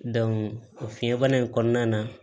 o fiɲɛ bana in kɔnɔna na